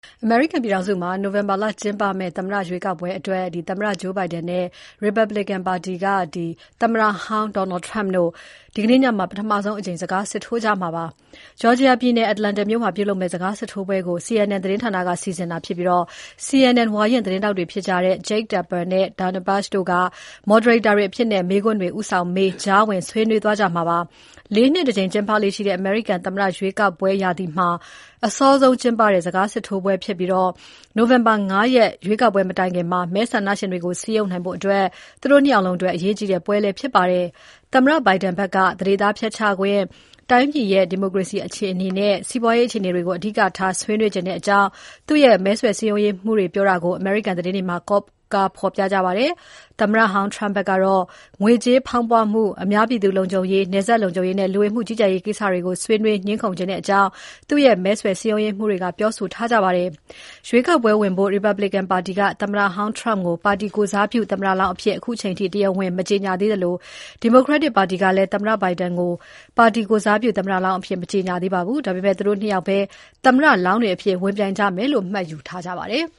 အမေရိကန်ပြည်ထောင်စုမှာ နိုဝင်ဘာကျင်းပမယ့် သမ္မတရွေးကောက်ပွဲအတွက် ဒီမိုကရက်တစ်ပါတီက သမ္မတဂျိုးဘိုင်ဒန် (Joe Biden)နဲ့ ရီပတ်ဘလစ်ကန်ပါတီဘက်က သမ္မတဟောင်းဒေါ်နယ်ထရမ့် (Donald Trump) တို့ ဒီနေ့ညမှာ ပထမဆုံးအကြိမ် စကားစစ်ထိုးကြမှာဖြစ်ပါတယ်။ ဂျော်ဂျီယာပြည်နယ်၊ အတ္တလန်တာမြို့မှာ ပြုလုပ်မယ့် စကားစစ်ထိုးပွဲကို CNN သတင်းဌာနက စီစဉ်တာဖြစ်ပြီး CNN ဝါရင့်သတင်းထောက်တွေဖြစ်ကြတဲ့ Jake Tapper နဲ့တို့က Dana Bash တို့က Moderator တွေအဖြစ် မေးခွန်းတွေ ဦးဆောင်မေး၊ ကြားဝင်ဆွေးနွေးသွားကြမှာဖြစ်ပါတယ်။ ၄ နှစ်တကြိမ် ကျင်းပလေ့ရှိတဲ့ အမေရိကန် သမ္မတရွေးကောက်ပွဲ ရာသီမှာ အစောဆုံးကျင်းပတဲ့ စကားစစ်ထိုးပွဲဖြစ်ပြီး နိုဝင်ဘာ ၅ ရက် ရွေးကောက်ပွဲမတိုင်ခင် မဲဆန္ဒရှင်တွေကို စည်းရုံးနိုင်ဖို့ သူတို့ ၂ ယောက်လုံးအတွက် အရေးကြီးတဲ့ စကားစစ်ထိုးပွဲလည်းဖြစ်ပါတယ်။ သမ္မတဘိုင်ဒန်ဘက်က သန္ဓေသားဖျက်ချခွင့်၊ တိုင်းပြည်ရဲ့ ဒီမိုကရေစီ အခြေအနေနဲ့ စီးပွားရေးအခြေအနေတွေကို အဓိကထား ဆွေးနွေချင်တဲ့အကြောင်း သူ့ရဲ့ မဲဆွယ်စည်းရုံးရေးမှူးတွေပြောတာကို အမေရိကန် သတင်းတွေမှာ ကိုးကားဖေါ်ပြပါတယ်။ သမ္မတဟောင်းထရမ့်ဘက်ကတော့ ငွေကြေးဖေါင်းပွမှု၊ အများပြည်သူ့ လုံခြုံရေး၊ နယ်စပ်လုံခြုံရေးနဲ့ လူဝင်မှုကြီးကြပ်ရေး ကိစ္စတွေကို ဆွေးနွေးငြင်းခုံတဲ့အကြောင်း သူ့ရဲ့ မဲဆွယ်စည်းရုံးရေးမှူးတွေကပြောဆိုထားပါတယ်။ ရွေးကောက်ပွဲဝင်ဖို့ ရီပတ်ဘလစ်ကန်ပါတီက သမ္မတဟောင်းထရမ့် ပါတီကိုယ်စားပြု သမ္မတလောင်းအဖြစ် အခုအချိန်အထိ တရားဝင် မကြေညာသေးသလို ဒီမိုကရက်တစ်ပါတီကလည်း သမ္မတဂျိုးဘိုင်ဒန်ကို ပါတီကိုယ်စားပြု သမ္မတလောင်းအဖြစ် မကြေညာသေးပါဘူး။ ဒါပေမဲ့ သူတို့ ၂ ယောက်ပဲ သမ္မတလောင်းတွေအဖြစ် ဝင်ပြိုင်ကြမယ့်လို့ မှတ်ယူထားကြပါတယ်။